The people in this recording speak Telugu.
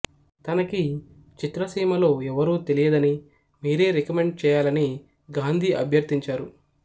తనకి చిత్రసీమలో ఎవరూ తెలియదని మీరే రికమెండ్ చేయాలని గాంధీ అభ్యర్థించారు